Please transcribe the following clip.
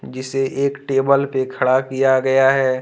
जिसे एक टेबल पर खड़ा किया गया है।